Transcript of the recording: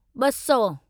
ॿ सौ